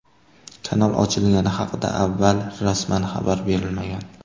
Kanal ochilgani haqida avval rasman xabar berilmagan.